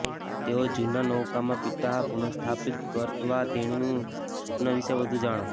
તેઓ જૂના નૌકામાં પિતા પુનઃસ્થાપિત કરવા તેણીનું સ્વપ્ન વિશે વધુ જાણો